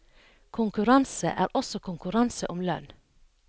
Konkurranse er også konkurranse om lønn.